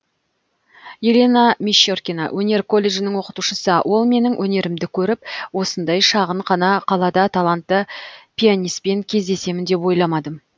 елена мещеркина өнер колледжінің оқытушысы ол менің өнерімді көріп осындай шағын ғана қалада талантты пианиспен кездесемін деп ойламадым